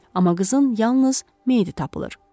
Amma qızın yalnız meyidi tapılır.